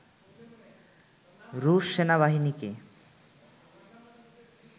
রুশ সেনাবাহিনীকে